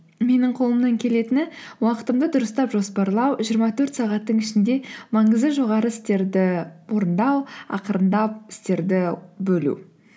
менің қолымнан келетіні уақытымды дұрыстап жоспарлау жиырма төрт сағаттың ішінде маңызы жоғары істерді орындау ақырындап істерді бөлу